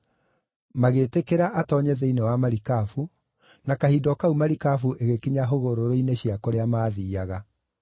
Magĩtĩkĩra atoonye thĩinĩ wa marikabu, na kahinda o kau marikabu ĩgĩkinya hũgũrũrũ-inĩ cia kũrĩa maathiiaga.